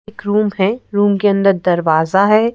एक रूम है रूम के अंदर दरवाज़ा है।